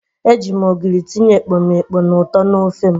Eji m ogiri tinye ekpomeekpo na uto na ofe m.